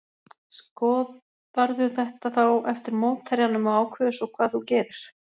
Skoðarðu þetta þá eftir mótherjanum og ákveður svo hvað þú gerir?